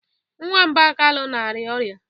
Nwamba Kalu na-arịa ọrịa.